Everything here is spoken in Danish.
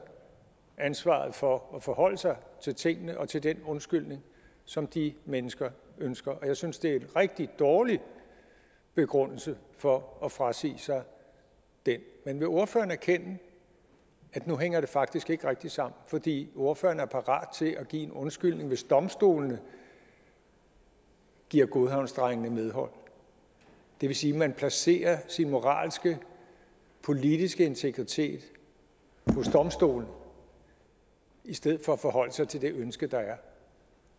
ansvaret for at forholde sig til tingene og til den undskyldning som de mennesker ønsker og jeg synes det er en rigtig dårlig begrundelse for at frasige sig det men vil ordføreren erkende at nu hænger det faktisk ikke rigtig sammen fordi ordføreren er parat til at give en undskyldning hvis domstolene giver godhavnsdrengene medhold det vil sige at man placerer sin moralske politiske integritet hos domstolene i stedet for at forholde sig til det ønske der er